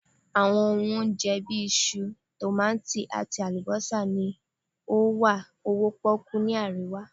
awọn ohun onjẹ, bi iṣu, tomati ati alubosa ni o wa owo poku ni arewa